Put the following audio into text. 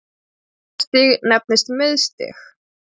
Næsta stig nefnist miðstig.